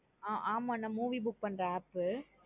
ஆஹ் ஆமா நா movie book பண்ற app பு